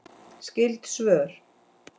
Skyld svör